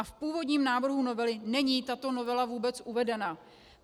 A v původním návrhu novely není tato novela vůbec uvedena.